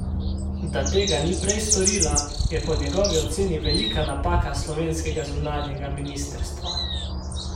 Da tega ni prej storila, je po njegovi oceni velika napaka slovenskega zunanjega ministrstva.